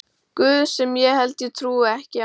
guð sem ég held ég trúi ekki á.